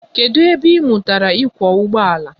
Kedụ ebe ị mụtara ịkwọ ụgbọala?